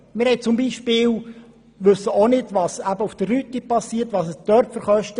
So wissen wir zum Beispiel nicht, was mit der Rüti geschieht und welche Kosten dort entstehen.